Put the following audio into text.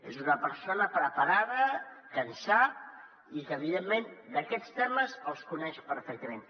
és una persona preparada que en sap i que evidentment aquests temes els coneix perfectament